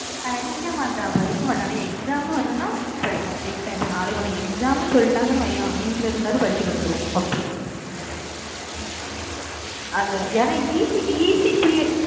படிக்க மாட்டோம் படிக்க மாட்டோம் ஆனா exam ன்னு வந்ததுன்னா படிப்போம் நாளைக்கு உனக்கு exam ன்னு சொல்லிட்டாங்கன்னு வையேன் வீட்டுல இருந்தாவது படிச்சுட்டு வந்துடுவோம். அப்படி அது ஏன்னா